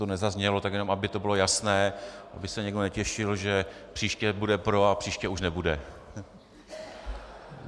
Tohle nezaznělo, tak jenom aby to bylo jasné, aby se někdo netěšil, že příště bude pro a příště už nebude.